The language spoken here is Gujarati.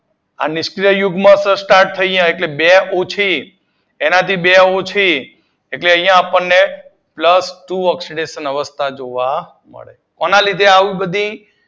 આ નિષ્ક્રીય યુગ્મ સ્ટાર્ટ થઈ જાય એટલે બે ઉછી એનાથી બે ઊચી એટલે અહિયાં આપડને પ્લસ ટુ ઑક્સીડેશન અવસ્થા જોવા મળે કોના લીધે